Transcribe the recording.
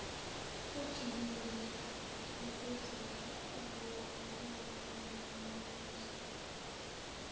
ejulile yokuzovokela nenamandla